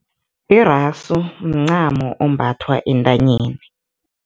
Irasu mncamo ombathwa entanyeni.